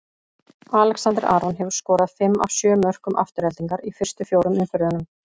Alexander Aron hefur skorað fimm af sjö mörkum Aftureldingar í fyrstu fjórum umferðunum.